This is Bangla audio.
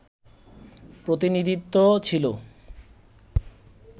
প্রতিনিধিত্ব ছিল